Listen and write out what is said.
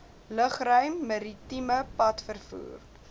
lugruim maritieme padvervoer